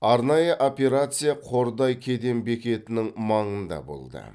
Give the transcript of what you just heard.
арнайы операция қордай кеден бекетінің маңында болды